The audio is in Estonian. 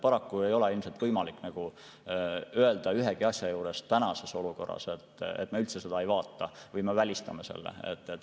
Paraku ei ole ilmselt võimalik tänases olukorras ühegi asja kohta öelda, et me üldse seda ei vaata, me selle välistame.